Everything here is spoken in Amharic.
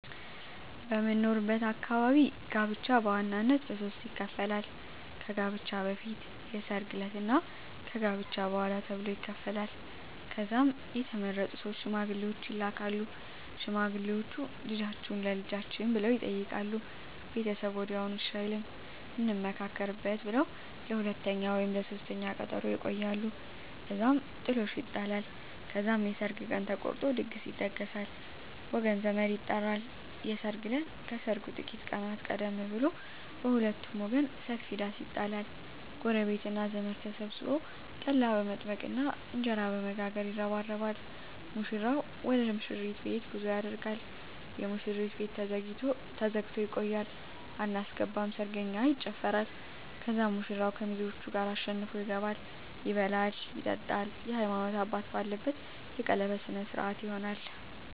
በምኖርበት አካባቢ ጋብቻ በዋናነት በሦስት ይከፈላል። ከጋብቻ በፊት፣ የሰርግ ዕለት እና ከጋብቻ በኋላ ተብሎ ይከፈላል። ከዛም የተመረጡ ሶስት ሽማግሌዎች ይላካሉ። ሽማግሌዎቹ "ልጃችሁን ለልጃችን" ብለው ይጠይቃሉ። ቤተሰብ ወዲያውኑ እሺ አይልም፤ "እንመካከርበት" ብለው ለሁለተኛ ወይም ለሦስተኛ ቀጠሮ ያቆያሉ። እዛም ጥሎሽ ይጣላል። ከዛም የሰርግ ቀን ተቆርጦ ድግስ ይደገሳል፣ ወገን ዘመድ ይጠራል። የሰርግ እለት ከሰርጉ ጥቂት ቀናት ቀደም ብሎ በሁለቱም ወገን ሰፊ ዳስ ይጣላል። ጎረቤትና ዘመድ ተሰብስቦ ጠላ በመጥመቅና እንጀራ በመጋገር ይረባረባል። ሙሽራው ወደ ሙሽሪት ቤት ጉዞ ያደርጋል። የሙሽሪት ቤት ተዘግቶ ይቆያል። አናስገባም ሰርገኛ ይጨፋራል። ከዛም ሙሽራው ከሚዜዎቹ ጋር አሸንፎ ይገባል። ይበላል ይጠጣል፣ የሀይማኖት አባት ባለበት የቀለበት ስነ ስሮአት ይሆናል